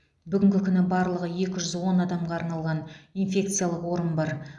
бүгінгі күні барлығы екі жүз он адамға арналған инфекциялық орын бар